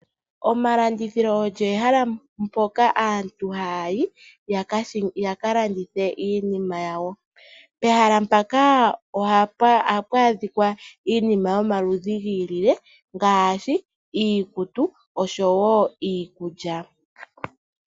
Omalandithilo ogo omahala mpoka aantu haya yi yaka landithe iinima yawo. Pehala mpoka ohapu adhika iinima yomaludhi gili no gili, ngashi iikutu osho wo iikulya.